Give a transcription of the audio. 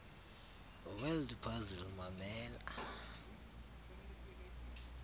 word puzzle mamela